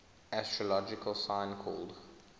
astrological sign called